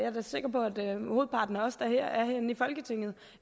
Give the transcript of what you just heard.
hovedparten af os der er herinde i folketinget